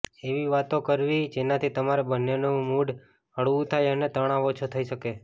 એવી વાતો કરવી જેનાથી તમારા બંનેનું મૂડ હળવું થાય અને તણાવ ઓછો થઈ શકે